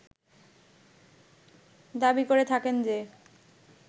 দাবি করে থাকেন যে